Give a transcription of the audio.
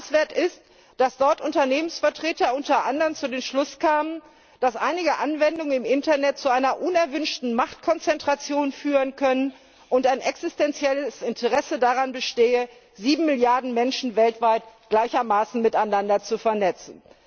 Bemerkenswert ist, dass dort Unternehmensvertreter unter anderem zu dem Schluss kamen, dass einige Anwendungen im Internet zu einer unerwünschten Machtkonzentration führen können und ein existenzielles Interesse daran bestehe, sieben Milliarden Menschen weltweit gleichermaßen miteinander zu vernetzen.